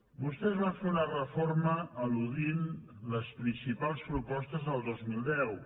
vostès van fer una reforma al·ludint a les principals propostes del dos mil deu